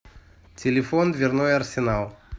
телефон дверной арсенал